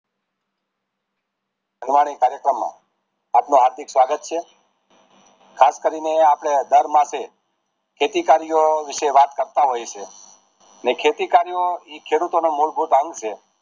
કાર્યક્રમ માં આપણું હાર્દિક સ્વાગત છે ખાસ કરી ને આપડે અઢાર માર્ચે ખેતી કર્યો વિષે વાત કરતા હોય છે ખેતી કર્યો એ ખેડૂતો નો મૂળભૂત અંગ છે